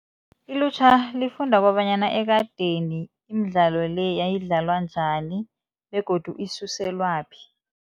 Ilutjha lifunda kobanyana ekadeni imidlalo le yayidlalwa njani begodu isuselwaphi.